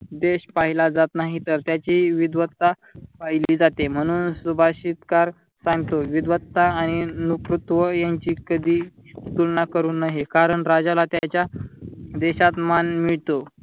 देश पहिला जात नाही तर त्याची विद्ववता पहिली जाते म्हणून सुभाषितकार सांगतो विद्वत्ता आणि यांची कधी तुलना करू नये कारण राजाला त्याच्या देशात मान मिळतो.